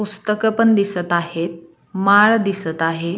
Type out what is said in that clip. पुस्तक पण दिसत आहेत. माळ दिसत आहे.